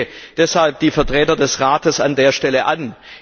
Ich spreche deshalb die Vertreter des Rates an der Stelle an.